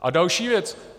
A další věc.